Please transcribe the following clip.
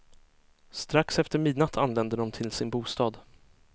Strax efter midnatt anlände de till sin bostad.